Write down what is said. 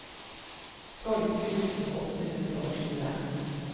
tolv tusen åtte hundre og tjue